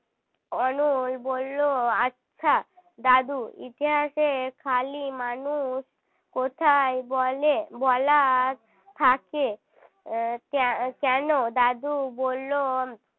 অনল বললো আচ্ছা দাদু ইতিহাসে খালি মানুষ কোথায় বলে বলা থাকে কে~ কেন দাদু বলল